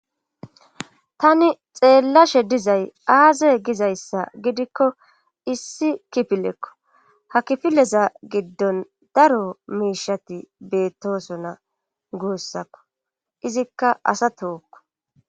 Tani xeellashe dizay aaze gizayssa gidikko issi kipilekko ha kifileza giddon daro miishati beettosona guussakko izikka asa tookko.